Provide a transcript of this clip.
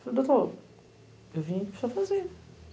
Falei, doutor, eu vim para o senhor fazer.